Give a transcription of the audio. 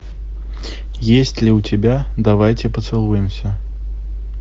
есть ли у тебя давайте поцелуемся